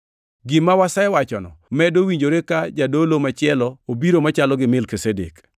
Gima wasewachono medo winjore ka jadolo machielo obiro machalo gi Melkizedek,